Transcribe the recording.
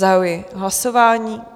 Zahajuji hlasování.